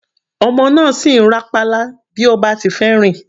Ọmọ náà sì ń rá pálá bí ó bá ti fẹ́ rìn.